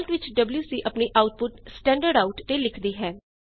default ਵਿੱਚ WC ਆਪਣੀ output standard out ਤੇ ਲਿਖਦੀ ਹੈ